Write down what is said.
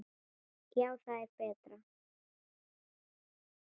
Já, það er betra.